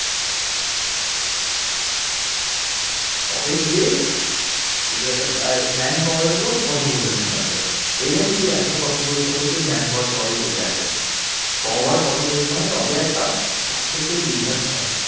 তবে গিয়ে যদি একটা man power ও কঠোর পরিশ্রম লাগবে এই নয় যে তুই একা কঠোর পরিশ্রম করছিস man power সবাই বসে আছে। সবার কঠোর পরিশ্রমে তবে একটা successful business হয়